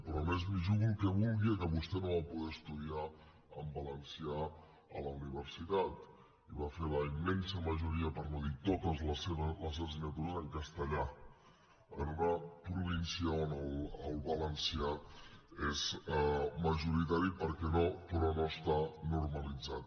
però a més m’hi jugo el que vulgui que vostè no va poder estudiar en valencià a la universitat i va fer la immensa majoria per no dir totes de les assignatures en castellà en una província on el valencià és majoritari però no està normalitzat